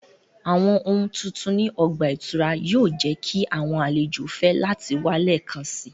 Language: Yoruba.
Awọn ohun titun ni ọgba-ìturá yoo jẹ ki awọn alejo fẹ lati wa lẹẹkansi